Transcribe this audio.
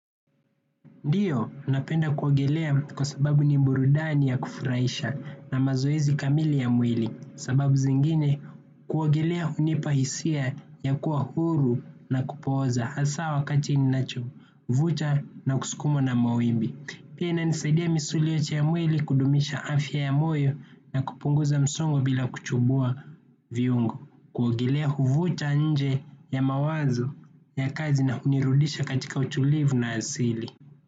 Ndiyo, napenda kuogelea kwa sababu ni burudani ya kufurahisha na mazoezi kamili ya mwili. Sababu zingine, kuogelea hunipa hisia ya kuwa huru na kupooza hasa wakati ninacho, vusha na kusukumwa na mawimbi. Pia ina nisaidia misuli yote ya mwili kudumisha afya ya moyo na kupunguza msongo bila kuchubua viungo. Kuogelea huvucha nje ya mawazo ya kazi na hunirudisha katika utulivu na asili.